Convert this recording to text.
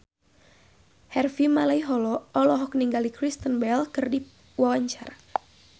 Harvey Malaiholo olohok ningali Kristen Bell keur diwawancara